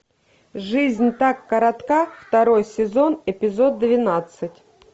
жизнь так коротка второй сезон эпизод двенадцать